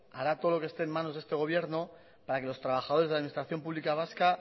hará todo lo que esté en manos de este gobierno para que los trabajadores de la administración pública vasca